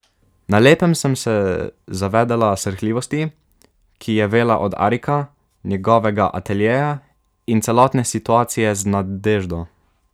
Na lepem sem se zavedela srhljivosti, ki je vela od Arika, njegovega ateljeja in celotne situacije z Nadeždo.